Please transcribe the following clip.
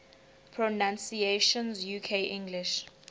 pronunciations uk english